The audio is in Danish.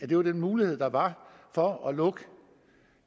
det var den mulighed der var for at lukke